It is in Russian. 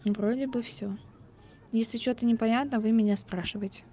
вроде бы всё если что-то непонятно вы меня спрашивайте